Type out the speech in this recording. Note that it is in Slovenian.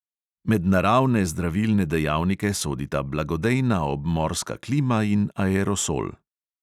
Med naravne zdravilne dejavnike sodita blagodejna obmorska klima in aerosol.